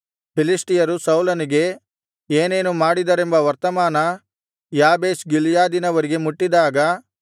ಫಿಲಿಷ್ಟಿಯರು ಸೌಲನಿಗೆ ಏನೇನು ಮಾಡಿದರೆಂಬ ವರ್ತಮಾನ ಯಾಬೆಷ್ ಗಿಲ್ಯಾದಿನವರಿಗೆ ಮುಟ್ಟಿದಾಗ